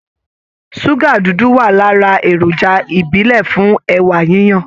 Ṣúgà dúdú wà lára èròjà ìbílẹ̀ fún ẹ̀wà yiyan